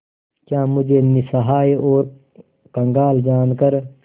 क्या मुझे निस्सहाय और कंगाल जानकर